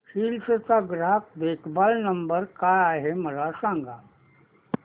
hills चा ग्राहक देखभाल नंबर काय आहे मला सांग